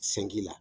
Sanki la